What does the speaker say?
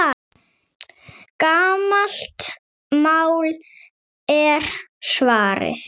Gamalt mál, er svarið.